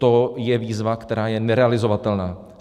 To je výzva, která je nerealizovatelná.